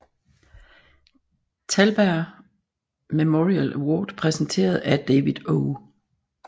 Thalberg Memorial Award præsenteret af David O